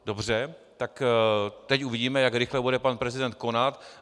Dobře, tak teď uvidíme, jak rychle bude pan prezident konat.